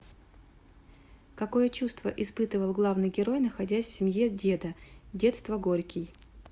какое чувство испытывал главный герой находясь в семье деда детство горький